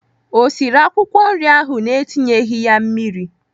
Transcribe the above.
O siri akwụkwọ nri ahụ na-etinyeghị mmiri?